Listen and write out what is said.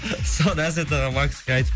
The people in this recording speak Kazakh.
соны әсет аға макске айтып